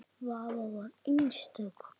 Svava var einstök kona.